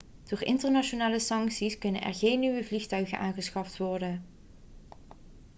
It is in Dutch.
door internationale sancties kunnen er geen nieuwe vliegtuigen aangeschaft worden